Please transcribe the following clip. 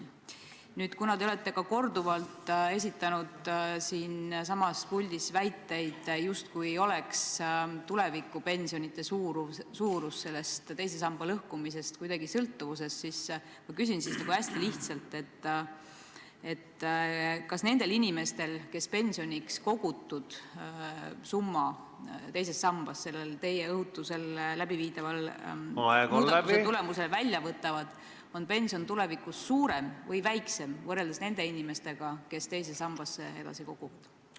Nüüd, kuna te olete siinsamas puldis korduvalt väitnud, justkui poleks tulevikus makstava pensioni suurus teise samba lõhkumisest kuidagi sõltuvuses, siis ma küsin hästi lihtsalt: kas nendel inimestel, kes pensioniks kogutud summa teisest sambast teie õhutusel läbiviidava muudatuse tulemusel välja võtavad, on pension tulevikus suurem või väiksem võrreldes nende inimestega, kes teise sambasse edasi koguvad?